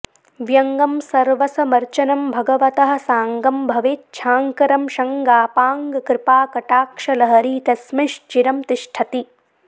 व्यङ्गं सर्वसमर्चनं भगवतः साङ्गं भवेच्छाङ्करं शङ्गापाङ्गकृपाकटाक्षलहरी तस्मिंश्चिरं तिष्ठति